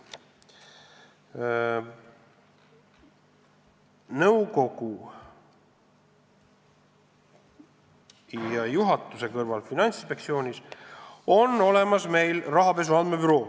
Finantsinspektsiooni nõukogu ja juhatuse kõrval on meil olemas ka rahapesu andmebüroo.